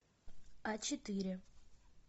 а четыре